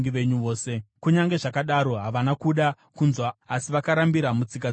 Kunyange zvakadaro, havana kuda kunzwa asi vakarambira mutsika dzavo dzakare.